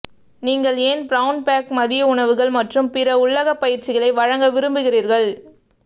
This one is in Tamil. நீங்கள் ஏன் பிரவுன் பேக் மதிய உணவுகள் மற்றும் பிற உள்ளக பயிற்சிகளை வழங்க விரும்புகிறீர்கள்